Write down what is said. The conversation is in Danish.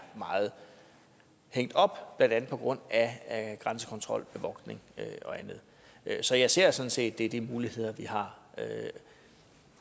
meget hængt op blandt andet på grund af grænsekontrol bevogtning og andet så jeg ser sådan set at det er de muligheder vi har